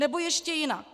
Nebo ještě jinak.